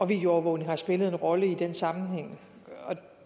videoovervågning har spillet en rolle i den sammenhæng og